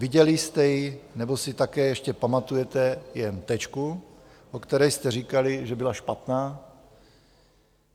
Viděli jste ji, nebo si také ještě pamatujete jen Tečku, o které jste říkali, že byla špatná?